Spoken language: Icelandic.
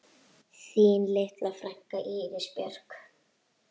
Þín litla frænka, Íris Björk.